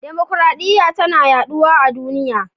Dimukraɗiya tana yaduwa a duniya.